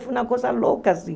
Foi uma coisa louca, assim.